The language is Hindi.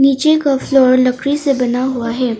नीचे का फ्लोर लड़की से बना हुआ है।